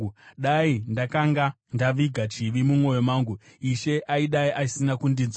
Dai ndakanga ndaviga chivi mumwoyo mangu, Ishe aidai asina kundinzwa;